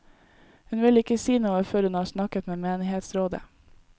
Hun vil ikke si noe før hun har snakket med menighetsrådet.